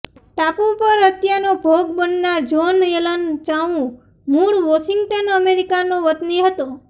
ટાપુ પર હત્યાનો ભોગ બનનાર જોન એલન ચાઉ મૂળ વોશિંગ્ટન અમેરિકાનો વતની હતો